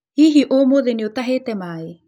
Hihi ũmũthĩ nĩ ũtahĩte maĩ ?